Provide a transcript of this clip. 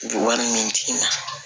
Wari ɲini tigi ma